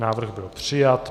Návrh byl přijat.